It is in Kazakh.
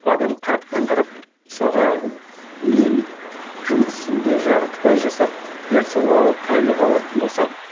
адам қараптан қарап мысалға мен жұмысымды жартылай жасап дәл сол ы айлық алатын болсам